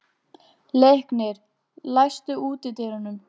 Leiknir, læstu útidyrunum.